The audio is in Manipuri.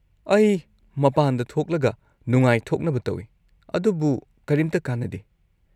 ꯑꯩ ꯃꯄꯥꯟꯗ ꯊꯣꯛꯂꯒ ꯅꯨꯡꯉꯥꯏꯊꯣꯛꯅꯕ ꯇꯧꯏ, ꯑꯗꯨꯕꯨ ꯀꯔꯤꯝꯇ ꯀꯥꯟꯅꯗꯦ꯫